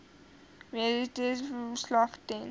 mediese verslag ten